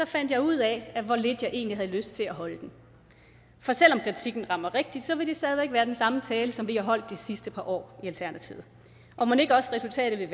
fandt jeg ud af hvor lidt jeg egentlig havde lyst til at holde den for selv om kritikken rammer rigtigt vil det stadig væk være den samme tale som vi har holdt de sidste par år i alternativet og mon ikke også resultatet